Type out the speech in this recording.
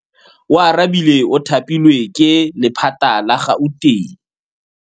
Oarabile o thapilwe ke lephata la Gauteng.